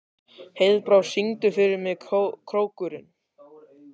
Heiðbrá, syngdu fyrir mig „Krókurinn“.